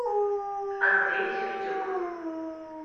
андрей сердюк